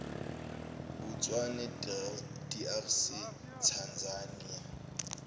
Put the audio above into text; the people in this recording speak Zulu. botswana drc tanzania